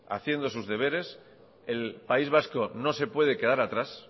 haciendo sus deberes el país vasco no se puede quedar atrás